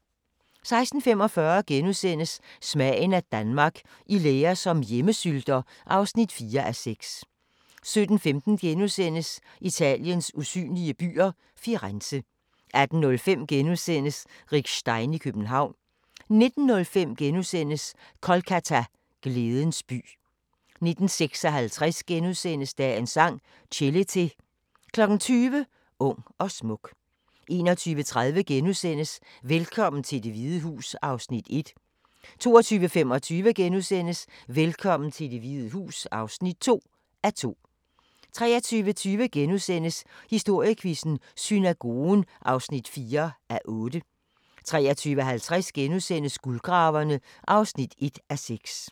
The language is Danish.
16:45: Smagen af Danmark – I lære som hjemmesylter (4:6)* 17:15: Italiens usynlige byer – Firenze * 18:05: Rick Stein i København * 19:05: Kolkata – glædens by * 19:56: Dagens Sang: Chelete * 20:00: Ung og smuk 21:30: Velkommen til Det Hvide Hus (1:2)* 22:25: Velkommen til Det Hvide Hus (2:2)* 23:20: Historiequizzen: Synagogen (4:8)* 23:50: Guldgraverne (1:6)*